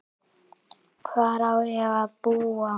Hvar á ég að búa?